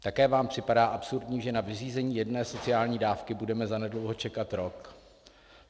Také vám připadá absurdní, že na vyřízení jedné sociální dávky budeme zanedlouho čekat rok?